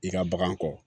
I ka bagan kɔ